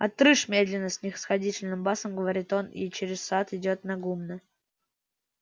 отрыж медленно снисходительным басом говорит он и через сад идёт на гумно